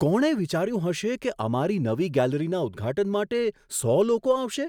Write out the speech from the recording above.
કોણે વિચાર્યું હશે કે અમારી નવી ગેલેરીના ઉદ્ઘાટન માટે સો લોકો આવશે?